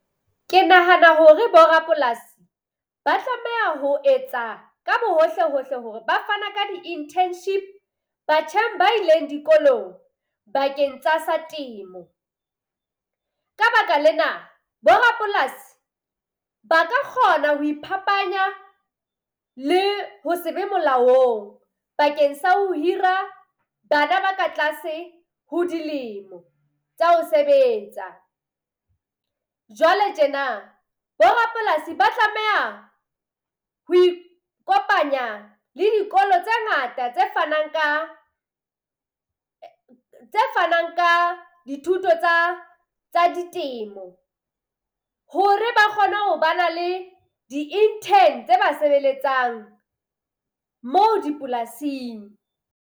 Ke nahana hore borapolasi ba tlameha ho etsa ka bohohle-hohle hore ba fana ka di-internship batjheng ba ileng dikolong bakeng tsa sa temo. Ka baka lena, borapolasi ba ka kgona ho iphapanya le ho se be molaong bakeng sa ho hira bana ba ka tlase ho dilemo tsa ho sebetsa. Jwale tjena borapolasi ba tlameha ho ikopanya le dikolo tse ngata tse fanang ka tse fanang ka dithuto tsa tsa ditemo, hore ba kgone ho ba na le di-intern tse ba sebeletsang moo dipolasing.